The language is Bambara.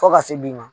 Fo ka se bi ma